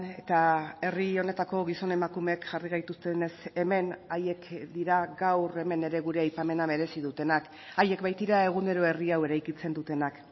eta herri honetako gizon emakumeek jarri gaituztenez hemen haiek dira gaur hemen ere gure aipamena merezi dutenak haiek baitira egunero herri hau eraikitzen dutenak